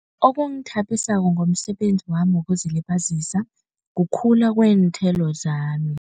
Okungithabisako ngomsebenzi wami wokuzilibazisa kukhula kweenthelo zami.